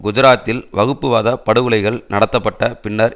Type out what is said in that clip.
குஜராத்தில் வகுப்புவாத படுகொலைகள் நடத்தப்பட்ட பின்னர்